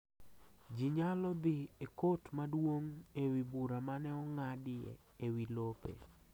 Ji nyalo dhi e kot maduong’ e wi bura mane ong'adi e wi lope